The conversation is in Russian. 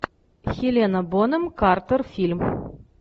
хелена бонем картер фильм